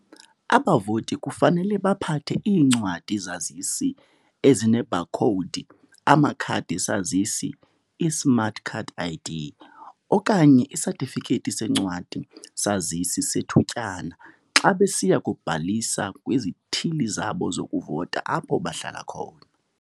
Abavoti kufanele baphathe iincwadi-zazisi ezinebhakhowudi, amakhadi-zazisi, i-smart card ID, okanye isatifikethi sencwadi-sazisi sethutyana xa besiya kubhalisa kwizithili zabo zokuvota apho bahlala khona.